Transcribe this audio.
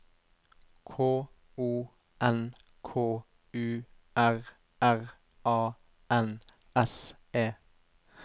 K O N K U R R A N S E